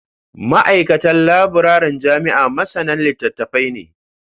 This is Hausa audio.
Ma'aikatan labiraren jami'a masanan litattafai ne